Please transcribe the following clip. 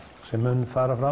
sem mun fara fram